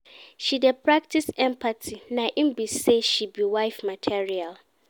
She dey practice empathy na im be sey she be wife material.